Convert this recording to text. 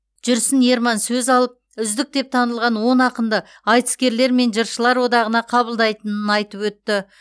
жүрсін ерман сөз алып үздік деп танылған он ақынды айтыскерлер мен жыршылар одағына қабылдайтынын айтып өтті